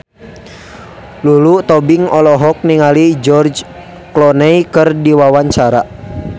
Lulu Tobing olohok ningali George Clooney keur diwawancara